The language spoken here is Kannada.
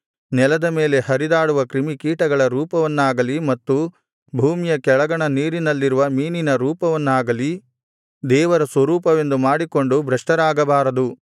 ನೆಲದ ಮೇಲೆ ಹರಿದಾಡುವ ಕ್ರಿಮಿಕೀಟಗಳ ರೂಪವನ್ನಾಗಲಿ ಮತ್ತು ಭೂಮಿಯ ಕೆಳಗಣ ನೀರಿನಲ್ಲಿರುವ ಮೀನಿನ ರೂಪವನ್ನಾಗಲಿ ದೇವರ ಸ್ವರೂಪವೆಂದು ಮಾಡಿಕೊಂಡು ಭ್ರಷ್ಟರಾಗಬಾರದು